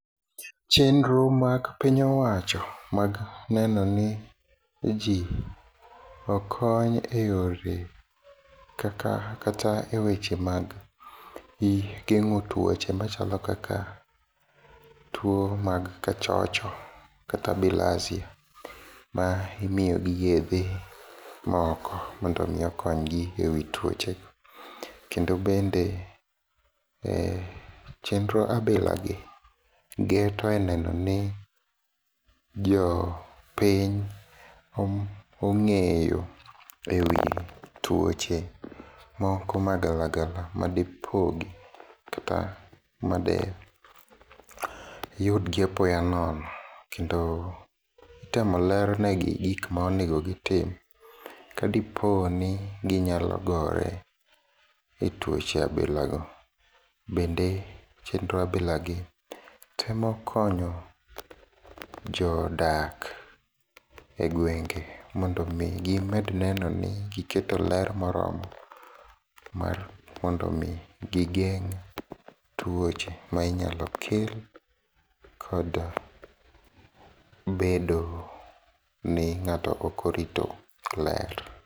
Chenro mag piny owacho mag neno ni jii okony eyore kaka kata eweche mag gengo tuoche machalo kaka tuo mag kachocho kata bilharzia mimiyo gi yedhe moko mondo mii konygi e wii tuoche kendo bende chenro abilagi geto neno ni jopiny ongeyo e wii tuoche moko magalagala madipogi, kata madiyudgi apoyo nono kendo itemo lernegi gik maonego gitim koponi ginyalo gore e tuoche abilago. Bende chenro abilagi temo konyo jodak e gwenge mondo mii gimed neno ni giketo ler moromo mar mondo mii gi gigeng tuoche minyalo kel kod bedo ni ngato okorito ler.